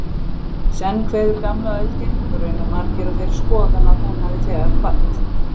Senn kveður gamla öldin, raunar margir á þeirri skoðun að hún hafi þegar kvatt.